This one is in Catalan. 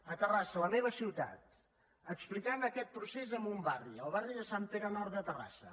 a terrassa la meva ciutat explicant aquest procés en un barri al barri de sant pere nord de terrassa